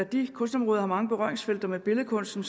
de kunstområder har mange berøringsfelter med billedkunsten